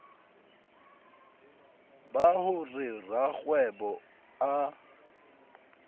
ba ho re rakgwebo a